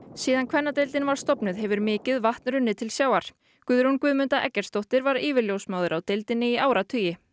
síðan kvennadeildin var stofnuð hefur mikið vatn hefur runnið til sjávar Guðrún Guðmunda Eggertsdóttir var yfirljósmóðir á deildinni í áratugi